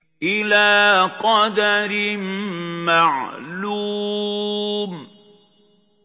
إِلَىٰ قَدَرٍ مَّعْلُومٍ